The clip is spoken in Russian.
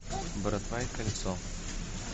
братва и кольцо